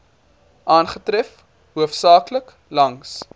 aangetref hoofsaaklik langs